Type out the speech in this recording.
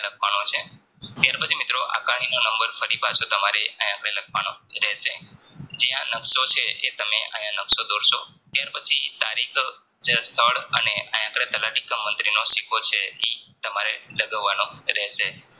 નો નંબર ફરી પાછો આયા આપડે લખવાનો રહેશે જ્યાં નકશો છે એ તમે આયા નકશો દોરશો ત્યાર પછી તારીખ સ્થળ અને આયા આપડે તલાટીકામ મંતીનો છે ઈ તમારે લગાવવાનો રહેશે